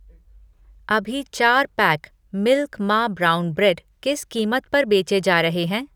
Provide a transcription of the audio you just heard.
अभी चार pack milk मा ब्राउन ब्रेड किस कीमत पर बेचे जा रहे हैं?